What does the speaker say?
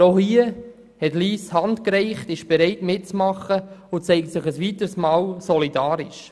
Aber auch hier hat Lyss die Hand gereicht, ist bereit, mitzumachen und zeigt sich ein weiteres Mal solidarisch.